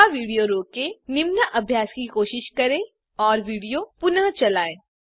यहाँ विडियो रोकें निम्न अभ्यास की कोशिश करें और विडियो पुनः चलायें